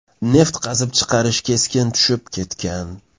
Neft qazib chiqarish keskin tushib ketgan.